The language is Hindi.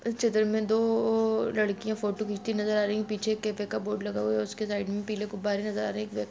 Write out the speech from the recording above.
इस चित्र मे दो-ओओओ लड़कीया फोटो खीचती नजर आ रही है पीछे एक कैफ़े का बोर्ड लगा हुआ है उसके साइड में पीले गुबारे नजर आ रहे है एक व्य--